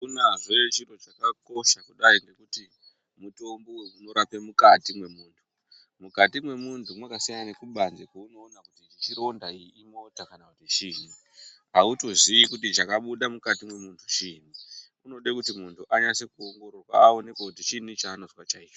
Akunazve chiro chakakosha kudai ngekuti mutombo uyu unorape mukati mwe muntu mukati mwe muntu mwaka siyana ne kubanze kweuno ona kuti ichi chironda iyi imota kana kuti chinyi autozi kuti chakabuda mukati mwe muntu chinyi unode kuti muntu anyase ku ongororwa awonekwe kuti chinyi chanozwa chaicho.